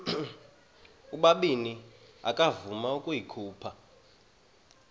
ubabini akavuma ukuyikhupha